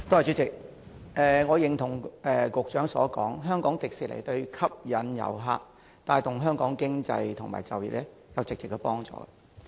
主席，我認同局長所說，香港迪士尼對吸引遊客和帶動香港經濟及就業有直接幫助。